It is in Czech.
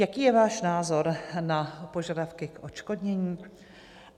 Jaký je váš názor na požadavky k odškodnění?